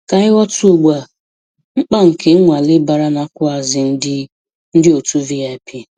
Ka anyị ghọta ugbu a mkpa nke nnwale bara n'akwuazi ndị ndị otu VIP.